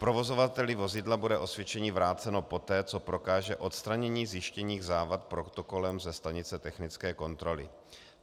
Provozovateli vozidla bude osvědčení vráceno poté, co prokáže odstranění zjištěných závad protokolem ze stanice technické kontroly.